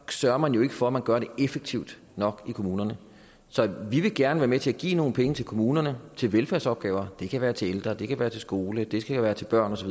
sørger man jo ikke for at gøre det effektivt nok i kommunerne så vi vil gerne være med til at give nogle penge til kommunerne til velfærdsopgaver det kan være til ældre det kan være til skole det kan være til børn osv